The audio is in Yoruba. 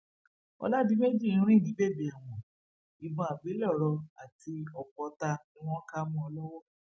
ọlàdìmejì ń rìn ní bèbè ẹwọn ìbọn àgbélẹrọ àti ọpọ ọtá ni wọn kà mọ ọn lọwọ